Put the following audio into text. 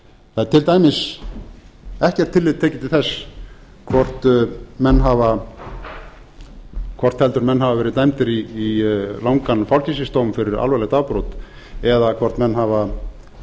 það er til dæmis ekkert tillit tekið til þess hvort heldur menn hafa verið dæmdir í langan fangelsisdóm fyrir alvarleg afbrot eða hvort menn hafa